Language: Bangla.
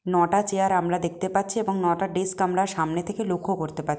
নটা চেয়ার আমরা দেখতে পাচ্ছি এবং নটা ডেস্ক আমরা সামনে থেকে লক্ষ্য করতে পার--